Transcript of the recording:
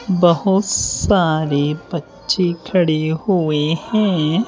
बहुत सारे बच्चे खड़े हुए हैं।